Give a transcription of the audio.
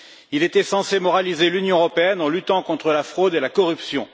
Il était censé moraliser l'Union européenne en luttant contre la fraude et la corruption.